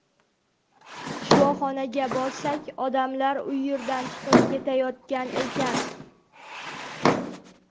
Shifoxonaga borsak, odamlar u yerdan chiqib ketayotgan ekan.